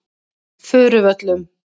Furuvöllum